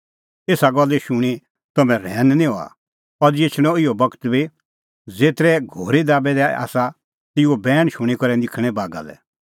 एसा गल्ला शूणीं तम्हैं रहैन निं हआ अज़ी एछणअ इहअ बगत बी ज़ेतरै घोरी दाबै दै आसा तेऊओ बैण शूणीं करै निखल़णैं बागा लै